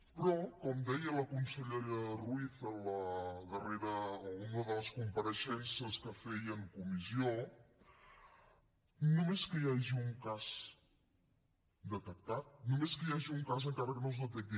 però com deia la consellera ruiz en la darrera o en una de les compareixences que feia en comissió només que hi hagi un cas detectat només que hi hagi un cas encara que no es detecti